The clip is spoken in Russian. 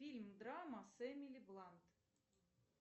фильм драма с эмили блант